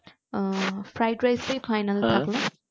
আহ fried rice টাই finall